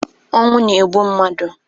Ọnwụ na-egbu mmadụ